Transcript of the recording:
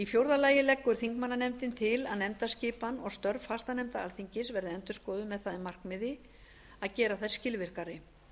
fjórði að nefndaskipan og störf fastanefnda alþingis verði endurskoðuð með það að markmiði að gera þær skilvirkari